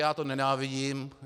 Já to nenávidím.